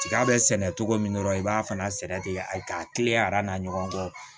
Tiga bɛ sɛnɛ cogo min dɔrɔn i b'a fana sɛnɛ ten a k'a teliya aradan ɲɔgɔn kɔ